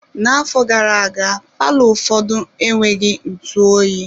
N'afọ gara-aga, palọ ụfọdụ enweghị ntụ oyi.